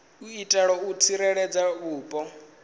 u itela u tsireledza vhupo